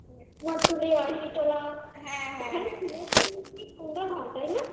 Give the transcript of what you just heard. কুমোরটুলি, আহিরীটোলা হ্যাঁ হ্যাঁ কি সুন্দর হয় তাই না?